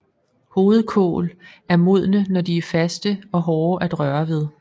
Hovedkål er modne når de er faste og hårde at røre ved